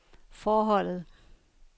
forholdet